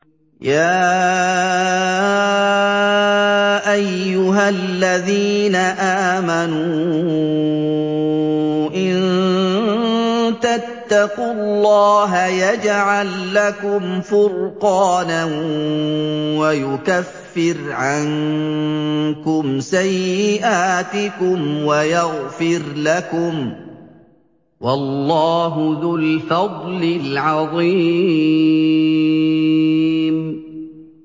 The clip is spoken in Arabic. يَا أَيُّهَا الَّذِينَ آمَنُوا إِن تَتَّقُوا اللَّهَ يَجْعَل لَّكُمْ فُرْقَانًا وَيُكَفِّرْ عَنكُمْ سَيِّئَاتِكُمْ وَيَغْفِرْ لَكُمْ ۗ وَاللَّهُ ذُو الْفَضْلِ الْعَظِيمِ